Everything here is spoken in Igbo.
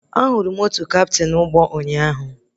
Ahụrụ m otu kaptịn ụgbọ ụnyaahụ